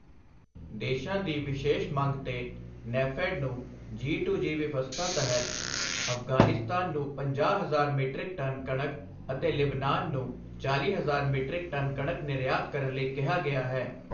ਦੇਸ਼ਾਂ ਦੀ ਵਿਸ਼ੇਸ ਮੰਗ ਤੇ ਨੈਫੈਡ ਨੂੰ ਜੀ2ਜੀ ਵਿਵਸਥਾ ਤਹਿਤ ਅਫ਼ਗ਼ਾਨਿਸਤਾਨ ਨੂੰ ਪੰਜਾਹ ਹਜ਼ਾਰ ਮੀਟ੍ਰਿਕ ਟਨ ਕਣਕ ਅਤੇ ਲਿਬਨਾਨ ਨੂੰ ਚਾਲ੍ਹੀ ਹਜ਼ਾਰ ਮੀਟ੍ਰਿਕ ਟਨ ਕਣਕ ਨਿਰਯਾਤ ਕਰਨ ਲਈ ਕਿਹਾ ਗਿਆ ਹੈ।